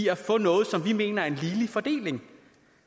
at få noget som vi mener er en ligelig fordeling